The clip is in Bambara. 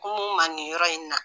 Kum'u ma nin yɔrɔ in na